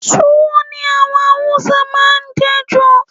Tuwo ni àwọn Haúsá máa ń je jù.